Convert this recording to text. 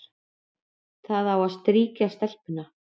Það á að strýkja stelpuna,